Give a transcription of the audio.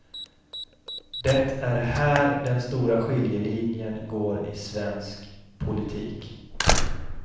Det är här den stora skiljelinjen går i svensk politik.